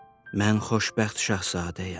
Mən Xoşbəxt Şahzadəyəm.